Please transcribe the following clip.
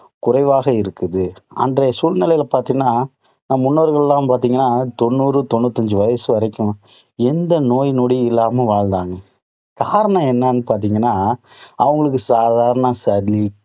குறைவாக இருக்குது. அன்றைய சூழ்நிலையில பார்த்தீங்கன்னா, நம் முன்னோர்கள் எல்லாம் பார்த்தீங்கன்னா, தொண்ணூறு, தொண்ணூத்தஞ்சு வயசு வரைக்கும் எந்த நோய் நொடியும் இல்லாமல் வாழ்ந்தாங்க. காரணம் என்னன்னு பார்த்தீங்கன்னா அவங்களுக்கு சாதாரண சளி,